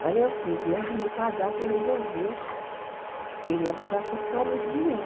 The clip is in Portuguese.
Mas aí aos treze anos meu padrasto resolveu querer abusar sexualmente de mim.